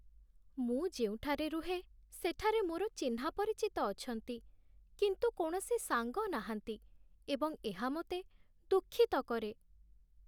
ମୁଁ ଯେଉଁଠାରେ ରୁହେ, ସେଠାରେ ମୋର ଚିହ୍ନାପରିଚିତ ଅଛନ୍ତି, କିନ୍ତୁ କୌଣସି ସାଙ୍ଗ ନାହାନ୍ତି ଏବଂ ଏହା ମୋତେ ଦୁଃଖିତ କରେ